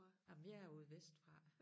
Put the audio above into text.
Jamen jeg er ude vestfra